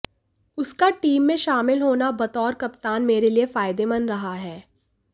उसका टीम में शामिल होना बतौर कप्तान मेरे लिए फायदेमंद रहा है